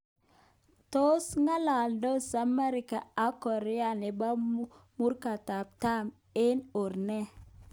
Tos ng'alaldos Amerika ak Korea nebo Murokatam eng or ne?